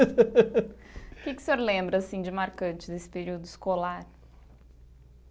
O que que o senhor lembra assim de marcante desse período escolar?